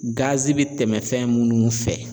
bi tɛmɛ fɛn minnu fɛ